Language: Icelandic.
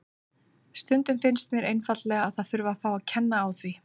Stundum finnst mér einfaldlega að það þurfi að fá að kenna á því.